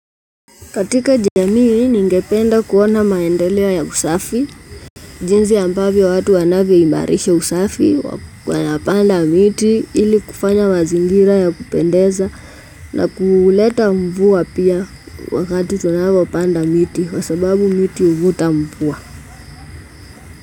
Katika jamii ningependa kuona maendelewo ya usafi, jinzi ambavyo watu wanavio imarisha usafi, wanapanda miti, ili kufanya mazingira ya kupendeza na kuuleta mvua pia wakati tunawa wapanda miti, kwa sababu miti uvuta mvua.